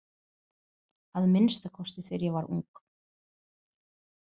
Að minnsta kosti þegar ég var ung.